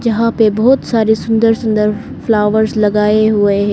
यहां पे बहुत सारी सुंदर सुंदर फ्लावर्स लगाए हुए हैं।